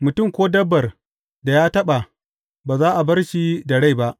Mutum ko dabbar da ya taɓa, ba za a bar shi da rai ba.’